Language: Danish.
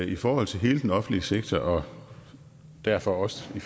i forhold til hele den offentlige sektor og derfor også i